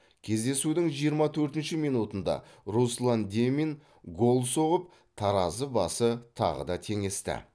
кездесудің жиырма төртінші минутында руслан демин гол соғып таразы басы тағы да теңесті